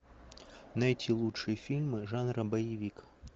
найти лучшие фильмы жанра боевик